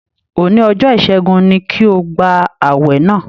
Òní ọjọ́ ìṣẹ́gun ni kí o gba ààwẹ̀ náà!